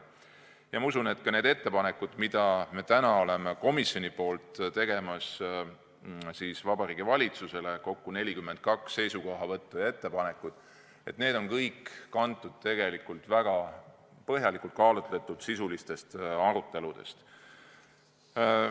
Ma usun, et need ettepanekud, mis me komisjonina Vabariigi Valitsusele teeme – kokku on 42 seisukohavõttu ja ettepanekut –, on kõik kantud väga põhjalikult kaalutud sisulistest aruteludest.